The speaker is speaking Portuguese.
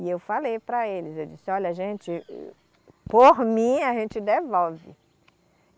E eu falei para eles, eu disse, olha gente, por mim a gente devolve.